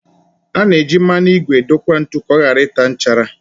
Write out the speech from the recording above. A na eji mmanụ ígwè edokwa ntu ka ọ ghara ịta nchara